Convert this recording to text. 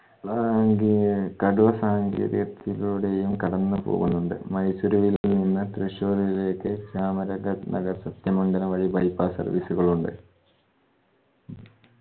സാംഗ്യെ കടൂർ സാങ്കേര്യത്തിലൂടെയും കടന്നു പോവുന്നുണ്ട്. മൈസൂരുവിൽ നിന്ന് തൃശൂരിലേക്ക് ചാമരാനഗർ സത്യമംഗലം വഴി bypass service ഉകൾ ഉണ്ട്